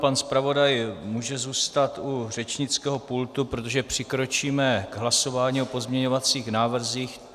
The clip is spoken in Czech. Pan zpravodaj může zůstat u řečnického pultu, protože přikročíme k hlasování o pozměňovacích návrzích.